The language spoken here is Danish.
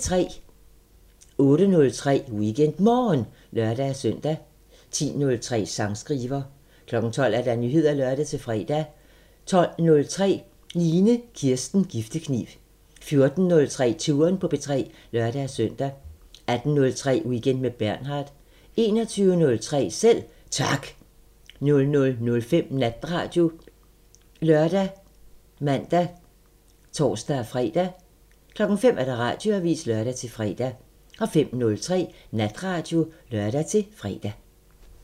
08:03: WeekendMorgen (lør-søn) 10:03: Sangskriver 12:00: Nyheder (lør-fre) 12:03: Line Kirsten Giftekniv 14:03: Touren på P3 (lør-søn) 18:03: Weekend med Bernhard 21:03: Selv Tak 00:05: Natradio ( lør, man, tor-fre) 05:00: Radioavisen (lør-fre) 05:03: Natradio (lør-fre)